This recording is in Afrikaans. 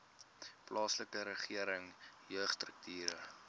plaaslike regering jeugstrukture